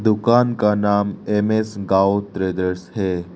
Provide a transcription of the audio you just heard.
दुकान का नाम एम_एस गांव ट्रेडर्स है।